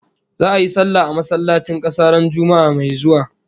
Za'a yi sallah a masallacin kasa ran Juma'ah mai zuwa